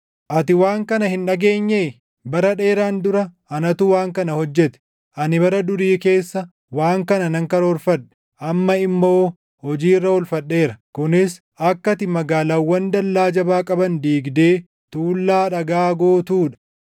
“Ati waan kana hin dhageenyee? Bara dheeraan dura anatu waan kana hojjete. Ani bara durii keessa waan kana nan karoorfadhe; amma immoo hojii irra oolfadheera; kunis akka ati magaalaawwan dallaa jabaa qaban diigdee tuullaa dhagaa gootuu dha.